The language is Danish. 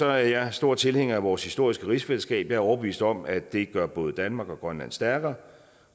er jeg stor tilhænger af vores historiske rigsfællesskab jeg er overbevist om at det gør både danmark og grønland stærkere